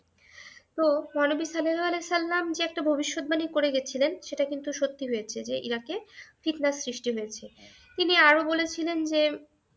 তো, মহানবী মহানবী সাল্লাল্লাহু ওয়াসাল্লাম যে একটা ভবিষ্যদ্বাণী করে গিয়েছিলেন সেটা কিন্তু সত্যি হয়েছে যে, ইরাকে ফিৎনা সৃষ্টি হয়েছে। তিনি আরো বলেছিলেন যে,